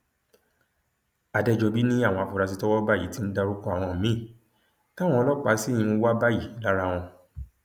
àdẹjọbí ni àwọn afurasí tọwọ bá yìí ti ń dárúkọ àwọn míín táwọn ọlọpàá sì ń wá báyìí lára wọn